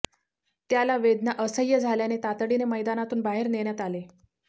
त्याला वेदना असहय़ झाल्याने तातडीने मैदानातून बाहेर नेण्यात आले